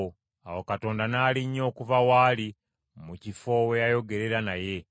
Awo Katonda n’alinnya okuva waali mu kifo we yayogerera naye.